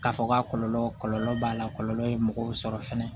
K'a fɔ k'a kɔlɔlɔ kɔlɔlɔ b'a la kɔlɔlɔ ye mɔgɔw sɔrɔ fɛnɛ